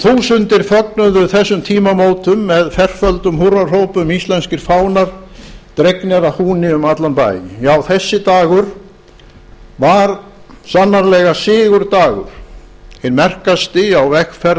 þúsundir fögnuðu þessum tímamótum með ferföldum húrrahrópum íslenskir fánar dregnir að húni um allan bæ já þessi dagur var sannarlega sigurdagur hinn merkasti á vegferð